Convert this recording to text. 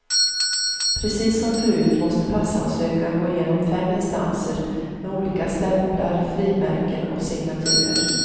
Precis som förut måste passansökan gå igenom fem instanser, med olika stämplar, frimärken och signaturer.